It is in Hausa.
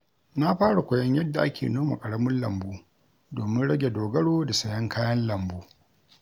Na fara koyon yadda ake noma ƙaramin lambu domin rage dogaro da sayen kayan lambu.